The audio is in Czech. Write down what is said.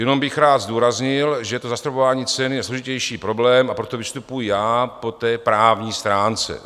Jenom bych rád zdůraznil, že to zastropování cen je složitější problém, a proto vystupuji já po té právní stránce.